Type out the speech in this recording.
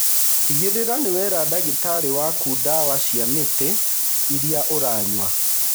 Tigĩrĩra nĩ wera ndagĩtarĩ waku ndawa cia mĩtĩ iria ũranyua.